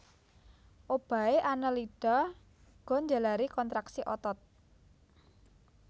Obahé Annelida uga njalari kontraksi otot